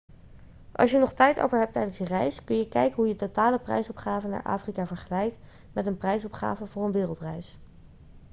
als je nog tijd over hebt tijdens je reis kun je kijken hoe je totale prijsopgave naar afrika vergelijkt met een prijsopgave voor een wereldreis